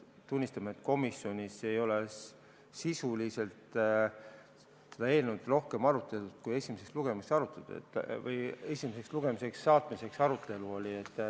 Tunnistame, et komisjonis ei ole sisuliselt seda eelnõu arutatud rohkem kui esimesele lugemisele saatmise arutelul.